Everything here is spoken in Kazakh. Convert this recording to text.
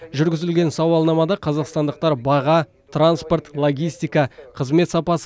жүргізілген сауалнамада қазақстандықтар баға транспорт логистика қызмет сапасы